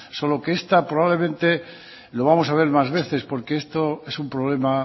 solo que esta probablemente lo vamos a ver más veces porque esto es un problema